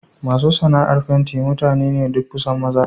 Masu sana'ar fenti mutane ne duk kusan maza.